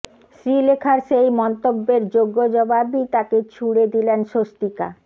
শ্রীলেখার সেই মন্তব্যের যোগ্য জবাবই তাকে ছুড়ে দিলেন স্বস্তিকা